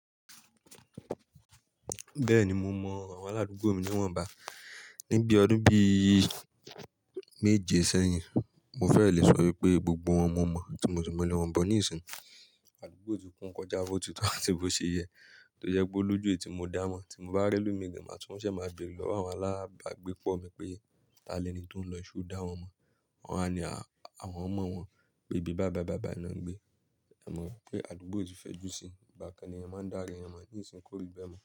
Bẹ́ẹ̀ni mo mọ àwọn aládùúgbò mi ní wọ́n bá. Ni bí ọdún bí i méje sẹ́yìn. Mo fẹ́ lè sọ wípé gbogbo wọn mo mọ̀, tí mo sì mọ ilé wọn gan níìsín. Adùúgbò ti kún kọjá bótì tó atí bo ṣe yẹ, tó jẹ́ pe ó lójú èyi mo dá wọn mọ̀. Tí mo bá rí elomi gan, màá tún ṣe máa bẹ̀rẹ̀ lọ́wọ́ àwọn alábàágbépọ̀ mi pé, "Tani l'ẹni tó ń lọ so dá wọn mọ̀?" Wọn a ní, "Àwọn mọ̀ wọ́n." pé bíi bài bai bài na ń gbé. Ẹ mọ̀ pé aládùúgbò ti fẹ́ jú sí i, ìgbà kan ni ẹyan máa ń dára ẹ mọ̀, níìsín kó rí bẹ́ mọ̀.